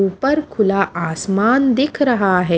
ऊपर खुला आसमान दिख रहा है।